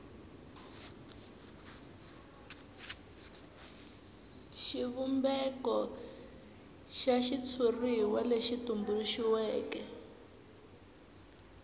xivumbeko xa xitshuriwa lexi tumbuluxiweke